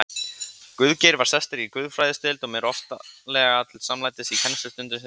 Guðgeir var sestur í guðfræðideild og mér oftlega til samlætis í kennslustundum sem ég sótti.